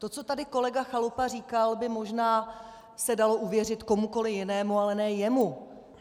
To, co tady kolega Chalupa říkal, by možná se dalo uvěřit komukoli jinému, ale ne jemu.